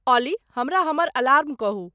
ऑली हमरा हमर अलार्म कहूं